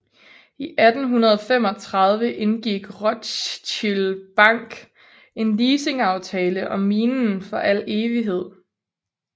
I 1835 indgik Rothschild Bank en leasingaftale om minen for al evighed